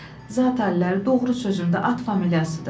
Zatəllər, doğru sözümdə at familiyasıdır.